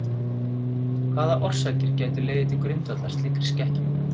Hvaða orsakir gætu legið til grundvallar slíkri skekkju?